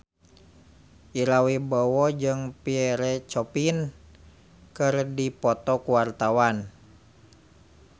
Ira Wibowo jeung Pierre Coffin keur dipoto ku wartawan